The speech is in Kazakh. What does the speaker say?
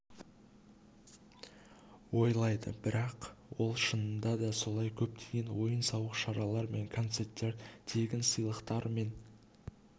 ойлайды бірақ ол шынында да солай көптеген ойын-сауық шаралар және концерттер тегін сыйлықтар мен